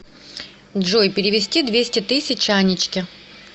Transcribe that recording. джой перевести двести тысяч анечке